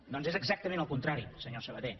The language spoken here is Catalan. doncs és exactament al contrari senyor sabaté